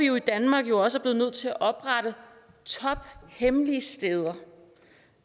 jo i danmark også været nødt til at oprette tophemmelige steder